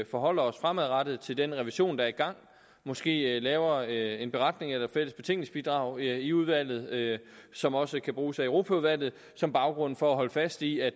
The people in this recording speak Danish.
forholder os fremadrettet til den revision der er i gang og måske laver en beretning eller et fælles betænkningsbidrag i udvalget som også kan bruges af europaudvalget som baggrund for at holde fast i at